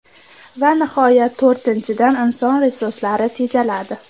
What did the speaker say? Va nihoyat, to‘rtinchidan, inson resurslari tejaladi.